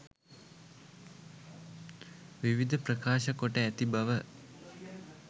විවිධ ප්‍රකාශ කොට ඇති බව